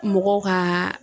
Mɔgɔw kaa